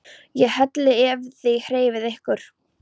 ÉG HELLI EF ÞIÐ HREYFIÐ YKKUR!